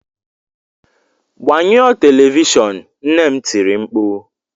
Gbanyụọ telivishọn! Nne m tiri mkpu.